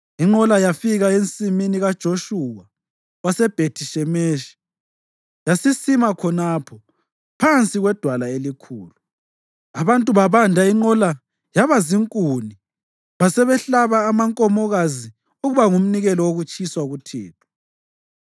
Inqola yafika ensimini kaJoshuwa waseBhethi-Shemeshi, yasisima khonapho phansi kwedwala elikhulu. Abantu babanda inqola yaba zinkuni basebehlaba amankomokazi ukuba ngumnikelo wokutshiswa kuThixo.